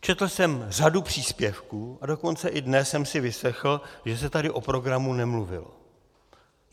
Četl jsem řadu příspěvků, a dokonce i dnes jsem si vyslechl, že se tady o programu nemluvilo.